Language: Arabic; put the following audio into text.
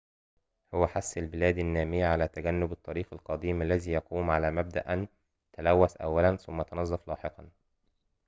هو حث البلاد النامية على تجنب الطريق القديم الذي يقوم على مبدأ أن تلوث أولاً ثم تنظف لاحقاً